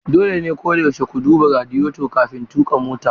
Dole ne koyaushe ku duba radiyeto kafin tuƙa mota.